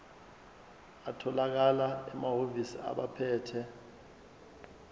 atholakala emahhovisi abaphethe